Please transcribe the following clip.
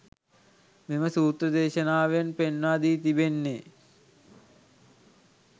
මෙම සූත්‍ර දේශනාවෙන් පෙන්වා දී තිබෙන්නේ